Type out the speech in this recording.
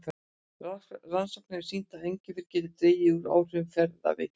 Rannsóknir hafa sýnt að engifer getur dregið úr áhrifum ferðaveiki.